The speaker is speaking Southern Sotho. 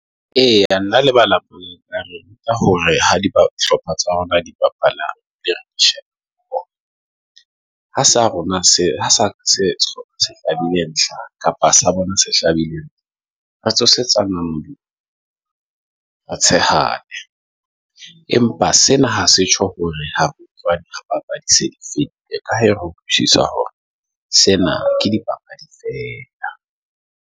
Eya, nna lebala hore ha di hlopha tsa rona, di bapala ha sa rona, hlabile ntlha kapa sa bona se hlabileng. Re tsosetsa re tshehadi, empa sena ha se tjho hore ha re papadi se di fedile, ka re utlwisisa hore sena ke di papadi fela .